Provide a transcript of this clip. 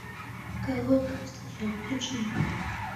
короткая встреча включи мне